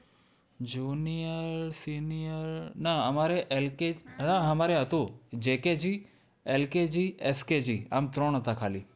Junior senior ના અમારે LK ના અમારે હતું JKG, LKG, SKG આમ ત્રણ હતા ખાલી.